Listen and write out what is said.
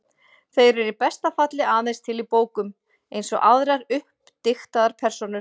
Þeir eru í besta falli aðeins til í bókum, eins og aðrar uppdiktaðar persónur.